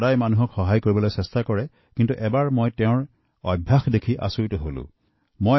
তেওঁ সকলো সময়তে লোকৰ সহায় কৰাৰ চেষ্টা কৰে কিন্তু তেওঁৰ এটা বেয়া অভ্যাস আছে যাৰ বাবে মই হতভম্ব হওঁ